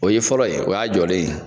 O ye fɔlɔ ye o y'a jɔlen ye